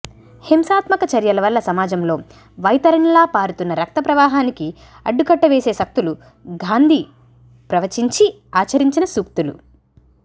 హింసాత్మక చర్యల వల్ల సమాజంలో వైతరిణిలా పారుతున్న రక్తప్రవాహానికి అడ్డుకట్ట వేసే శక్తులు గాంధీ ప్రవచించి ఆచరించిన సూక్తులు